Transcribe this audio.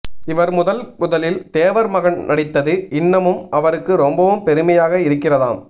இவர் முதல் முதலில் தேவர் மகன் நடித்தது இன்னமும் அவருக்கு ரொம்பவும் பெருமையாக இருக்கிறதாம்